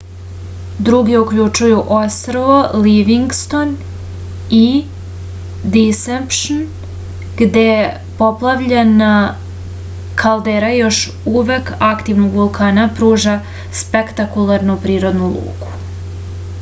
drugi uključuju ostrvo livingston i disepšn gde poplavljena kaldera još uvek aktivnog vulkana pruža spektakularnu prirodnu luku